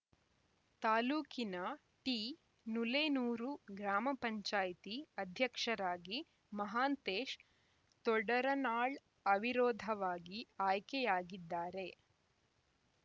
ತಾಲೂಕಿನ ಟಿನುಲೇನೂರು ಗ್ರಾಮಪಂಚಾಯ್ತಿ ಅಧ್ಯಕ್ಷರಾಗಿ ಮಹಾಂತೇಶ್‌ ತೊಡರನಾಳ್‌ ಅವಿರೋಧವಾಗಿ ಆಯ್ಕೆಯಾಗಿದ್ದಾರೆ